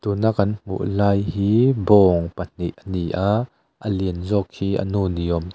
tuna kan hmu lai hi bawng pahnih a ni a a lian zawk hi a nu ni awm tak--